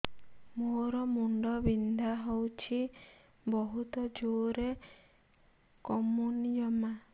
ମୋର ମୁଣ୍ଡ ବିନ୍ଧା ହଉଛି ବହୁତ ଜୋରରେ କମୁନି ଜମା